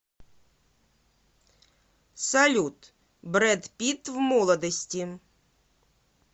салют брэд питт в молодости